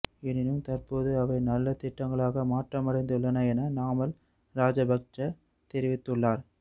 எனினும் தற்போது அவை நல்ல திட்டங்களாக மாற்றமடைந்துள்ளன என நாமல் ராஜபக்ச தெரிவித்துள்ளார்